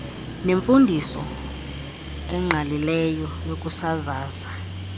nemfundiso engqalileyo yokusasaza